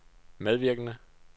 medvirkende